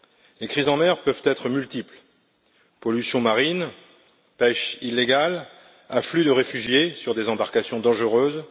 Les crises en mer peuvent être multiples pollution marine, pêche illégale, afflux de réfugiés sur des embarcations dangereuses.